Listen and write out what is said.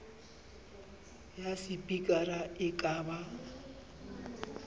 ya sepikara e ka ba